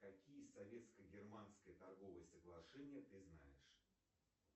какие советско германские торговые соглашения ты знаешь